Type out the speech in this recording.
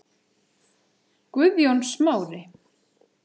Guðjón Smári.